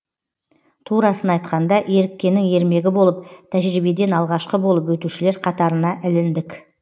турасын айтқанда еріккеннің ермегі болып тәжірибеден алғашқы болып өтушілер қатарына іліндік